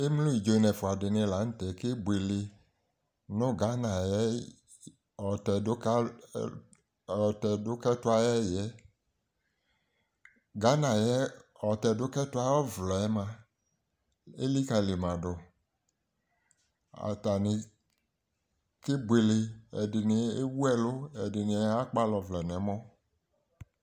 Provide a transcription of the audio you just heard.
Emlo idzo n'ɛfʋa dɩnɩ la nʋ tɛ kebuele nʋ Ghana ay'ɛyɩ ɔtɛdʋkalʋ lʋ ɔtɛdʋkɛtʋ ayɛyɩɛ Ghana ayɛ ɔtɛdʋkɛtʋ ay'ɔvlɛmʋa , elikǝlimadʋ Atanɩ kebuele : ɛdɩnɩ ewuɛlʋ , ɛdɩnɩ akpal' ɔvlɛ n'ɛmɔ